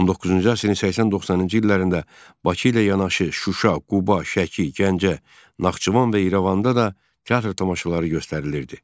19-cu əsrin 80-90-cı illərində Bakı ilə yanaşı Şuşa, Quba, Şəki, Gəncə, Naxçıvan və İrəvanda da teatr tamaşaları göstərilirdi.